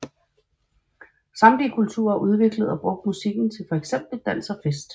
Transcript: Samtlige kulturer har udviklet og brugt musikken til for eksempel dans og fest